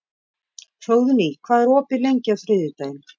Hróðný, hvað er opið lengi á þriðjudaginn?